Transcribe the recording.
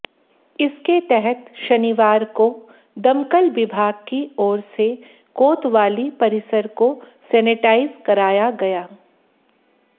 इसके तहत शनिवार को दमकल विभाग की ओर से कोतवाली परिसर को सेनेटाइज कराया गया